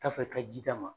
K'a fɛ ka ji d'a ma